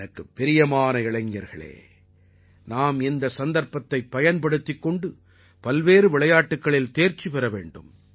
எனக்குப் பிரியமான இளைஞர்களே நாம் இந்த சந்தர்ப்பதைப் பயன்படுத்திக் கொண்டு பல்வேறு விளையாட்டுக்களில் தேர்ச்சி பெற வேண்டும்